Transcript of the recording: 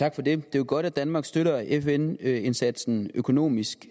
jo godt at danmark støtter fn indsatsen økonomisk